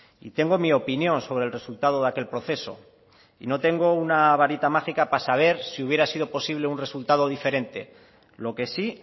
y tengo mi opinión sobre el resultado de aquel proceso y no tengo una varita mágica para saber si hubiera sido posible un resultado diferente lo que sí